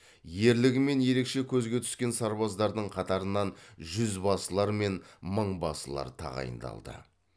ерлігімен ерекше көзге түскен сарбаздардың қатарынан жұзбасылар мен мыңбасылар тағайындалды